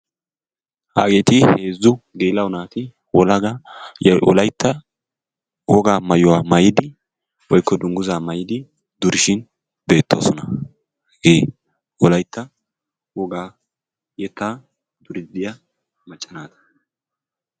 Hageeti heezzu naati wolaytta wogaa maayuwa maayidi/dungguzaa maayidi durishin beettoosona. Hagee Wolaytta wogaa yettaa duriiddi diya macca naata.